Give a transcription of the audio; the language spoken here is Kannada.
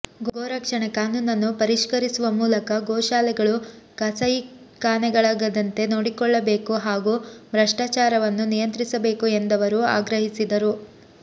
ಗೋರಕ್ಷಣೆ ಕಾನೂನನ್ನು ಪರಿಷ್ಕರಿಸುವ ಮೂಲಕ ಗೋಶಾಲೆಗಳು ಕಸಾಯಿಖಾನೆಗಳಾಗದಂತೆ ನೋಡಿಕೊಳ್ಳಬೇಕು ಹಾಗೂ ಭ್ರಷ್ಟಾಚಾರವನ್ನು ನಿಯಂತ್ರಿಸಬೇಕು ಎಂದವರು ಆಗ್ರಹಿಸಿದರು